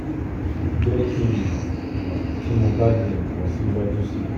jẹ ki n mọ mọ ti mo ba le ran ọ siwaju sii